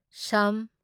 ꯁ